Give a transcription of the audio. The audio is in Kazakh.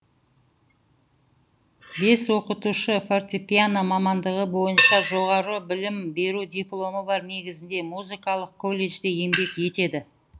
бес оқытушы фортепиано мамандығы бойынша жоғары білім беру дипломы бар негізінде музыкалық колледжде еңбек етеді